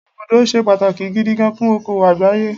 Ibùdó ṣe pàtàkì gidi gan fún òkòwò àgbáyé.